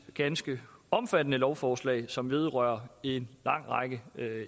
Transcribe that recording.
ganske omfattende lovforslag som vedrører en lang række